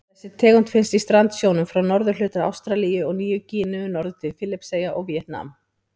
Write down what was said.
Þessi tegund finnst í strandsjónum frá norðurhluta Ástralíu og Nýju-Gíneu norður til Filippseyja og Víetnam.